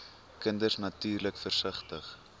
kinders natuurlik versigtig